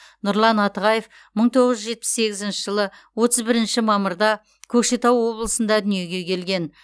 нұрлан атығаев мың тоғыз жүз жетпіс сегізінші жылы отыз бірінші мамырда көкшетау облысында дүниеге келген